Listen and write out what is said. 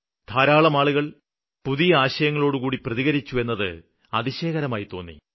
ധാരാളം ആളുകള് പുതിയ ആശയങ്ങളോടുകൂടി പ്രതികരിച്ചു എന്നത് അതിശയകരമായി തോന്നി